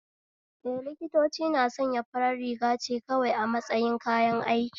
Eh, liktoci na sanya farar rigace kawai a matsayin kayan aiki